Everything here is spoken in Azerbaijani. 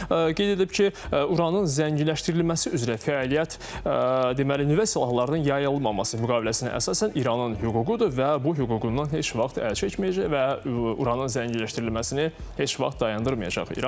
Qeyd edilib ki, uranın zənginləşdirilməsi üzrə fəaliyyət, deməli, nüvə silahlarının yayılmaması müqaviləsinə əsasən İranın hüququdur və bu hüququndan heç vaxt əl çəkməyəcək və uranın zənginləşdirilməsini heç vaxt dayandırmayacaq İran.